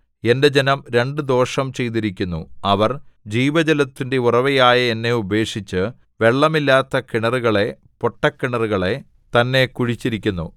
എന്റെ ജനം രണ്ടു ദോഷം ചെയ്തിരിക്കുന്നു അവർ ജീവജലത്തിന്റെ ഉറവയായ എന്നെ ഉപേക്ഷിച്ച് വെള്ളമില്ലാത്ത കിണറുകളെ പൊട്ടക്കിണറുകളെ തന്നെ കുഴിച്ചിരിക്കുന്നു